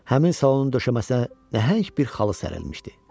Həmin salonun döşəməsinə nəhəng bir xalça sərilmişdi.